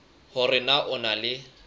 hore na o na le